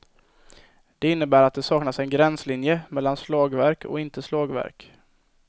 Det innebär att det saknas en gränslinje mellan slagverk och inte slagverk.